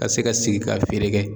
Ka se ka sigi ka feere kɛ